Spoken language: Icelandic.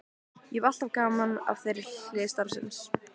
Ég hef alltaf haft gaman af þeirri hlið starfsins.